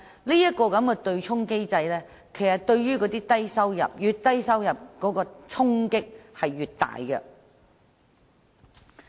由此可見，對沖機制對低收入僱員的影響較大，收入越低者所受的衝擊便越大。